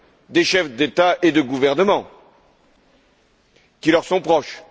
des chefs d'État et de gouvernement qui leur sont proches.